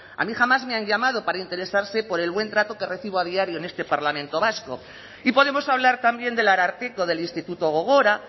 a mí jamás me han llamado para interesarse por el buen trato que recibo a diario en este parlamento vasco y podemos hablar también del ararteko del instituto gogora